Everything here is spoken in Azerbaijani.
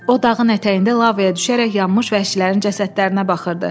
O dağın ətəyində lavaya düşərək yanmış vəhşilərin cəsədlərinə baxırdı.